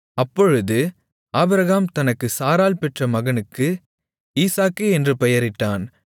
அப்பொழுது ஆபிரகாம் தனக்கு சாராள் பெற்ற மகனுக்கு ஈசாக்கு என்று பெயரிட்டான்